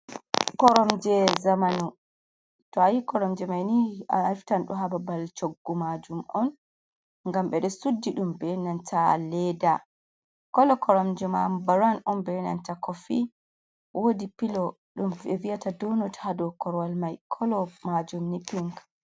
Korom je zamanu. To a yi korom je mai ni a heftan ɗo ha babal choggu majum on ngam ɓeɗo suddi ɗum be nanta leda. Kolo korom je mam burawn on, ɓe nanta koofi wodi pilo ɗum ɓe viyata donot. Hado korowal mai kolo majum ni ping.